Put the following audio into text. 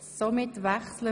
Geschäft 2017.RRGR.272